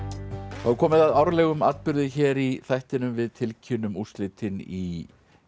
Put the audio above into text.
þá er komið að árlegum atburði hér í þættinum við tilkynnum úrslitin í